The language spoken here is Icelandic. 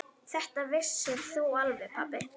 Þetta vissir þú alveg pabbi.